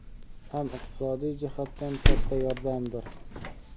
ham iqtisodiy jihatdan katta yordamdir.